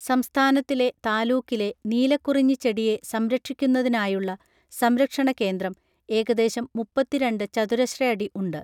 സംസ്ഥാനത്തിലെ താലൂക്കിലെ നീലക്കുറിഞ്ഞി ചെടിയെ സംരക്ഷിക്കുന്നതിനായുള്ള സംരക്ഷണ കേന്ദ്രം ഏകദേശം മുപ്പത്തി രണ്ട് ചതുരശ്രയടി ഉണ്ട്